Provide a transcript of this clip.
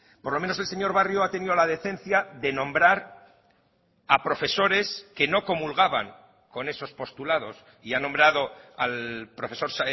por lo menos el señor barrio ha tenido la decencia de nombrar a profesores que no comulgaban con esos postulados y ha nombrado al profesor